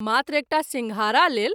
मात्र एकटा सिंघारा लेल।